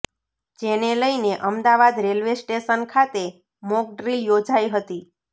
જેને લઇને Ahmedabad railway station ખાતે મોકડ્રીલ યોજાઇ હતી